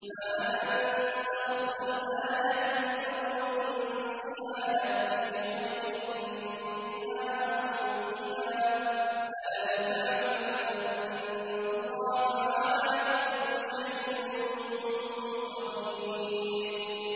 ۞ مَا نَنسَخْ مِنْ آيَةٍ أَوْ نُنسِهَا نَأْتِ بِخَيْرٍ مِّنْهَا أَوْ مِثْلِهَا ۗ أَلَمْ تَعْلَمْ أَنَّ اللَّهَ عَلَىٰ كُلِّ شَيْءٍ قَدِيرٌ